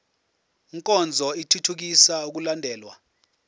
nkonzo ithuthukisa ukulandelwa